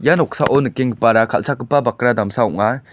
ia noksao nikenggipara kal·chakgipa bakra damsa ong·a.